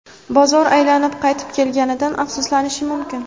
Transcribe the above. bozor aylanib qaytib kelganidan afsuslanishi mumkin.